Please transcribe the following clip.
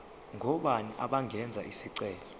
ngobani abangenza isicelo